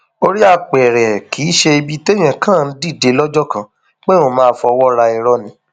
orí apẹrẹ kì í ṣe ibi téèyàn kàn ń dìde lọjọ kan pé òun máa fọwọ ra irọ ni